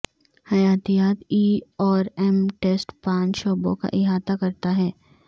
حیاتیات ای اور M test پانچ شعبوں کا احاطہ کرتا ہے